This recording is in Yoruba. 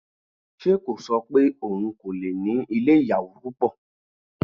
Ṣe kò ṣọ pé òun kò lè ní ilé oníyàwò púpọ̀?